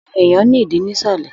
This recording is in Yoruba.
Irun èèyàn ní ìdí nisalẹ.